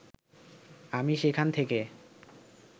আমি সেখান থেকে